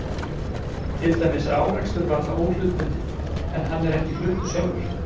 Til dæmis er árekstur varla óhlutbundinn, en hann er ekki hlutur sjálfur.